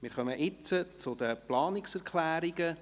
Jetzt kommen wir zu den Planungserklärungen.